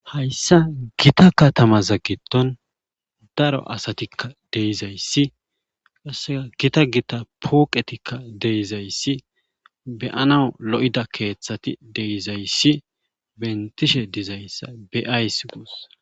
hayssa gita katamaza giddon daro asatikka de'izayssi qassea gita gita pooqetikka deizayssi beyana lo'ida keeththati de'izayssi bentishe di'zayssa beyays guus